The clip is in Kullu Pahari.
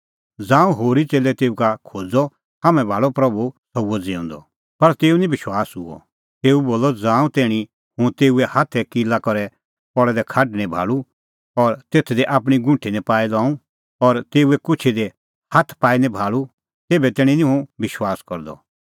ज़ांऊं होरी च़ेल्लै तेऊ का खोज़अ हाम्हैं भाल़अ प्रभू सह हुअ ज़िऊंदअ पर तेऊ निं विश्वास हुअ तेऊ बोलअ ज़ांऊं तैणीं हुंह तेऊए हाथै किला करै पल़ै दै खाढ निं भाल़ूं और तेथ दी आपणीं गुंठी निं पाई लऊं और तेऊए कुछी दी हाथ पाई निं भाल़ूं तेभै तैणीं निं हुंह विश्वास करदअ